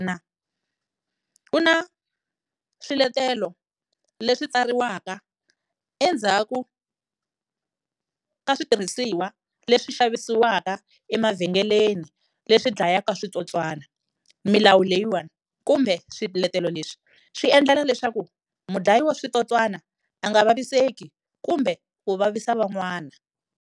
ku na swiletelo leswi tsariwaka endzhaku ka switirhisiwa leswi xavisiwaka emavhengeleni leswi dlayaka switsotswana milawu leyiwani kumbe swiletelo leswi swi endlela leswaku munhu dlayiwa switsotswana a nga vaviseki kumbe ku vavisa van'wana.